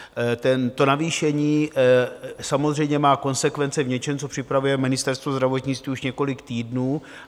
To navýšení samozřejmě má konsekvence v něčem, co připravuje Ministerstvo zdravotnictví už několik týdnů.